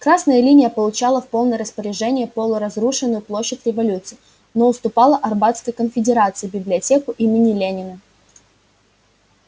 красная линия получала в полное распоряжение полуразрушенную площадь революции но уступала арбатской конфедерации библиотеку имени ленина